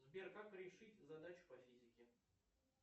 сбер как решить задачу по физике